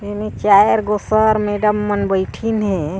ऐमे चार गो सर मैडम मन बइठिन हे।